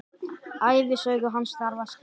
Ævisögu hans þarf að skrifa.